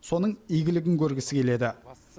соның игілігін көргісі келеді